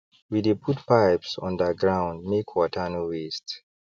we dey put pipes undergroundmake water no waste